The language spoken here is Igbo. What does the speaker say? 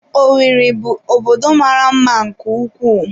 Owerri bụ obodo mara mma nke ukwuu.